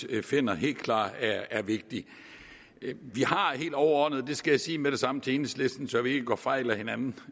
vi finder helt klart er vigtig vi har helt overordnet det skal jeg sige med det samme til enhedslisten så vi ikke går fejl af hinanden